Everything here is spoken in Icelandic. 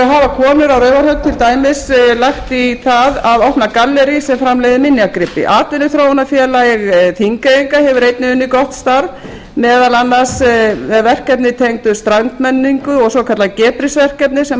hafa konur á raufarhöfn til dæmis lagt í það að opna gallerí sem framleiðir minjagripi atvinnuþróunarfélag þingeyinga hefur einnig unnið gott starf meðal annars með verkefni tengd strandmenningu og svokallað verkefni sem